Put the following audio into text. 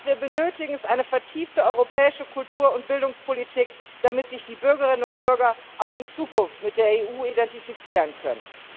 Was wir benötigen, ist eine vertiefte europäische Kultur und Bildungspolitik, damit sich die Bürgerinnen und Bürger auch in Zukunft mit der EU identifizieren können.